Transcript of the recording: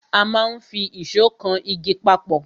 A máa n fi ìsó kan igi papọ̀